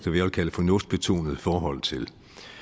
vil kalde fornuftsbetonet forhold til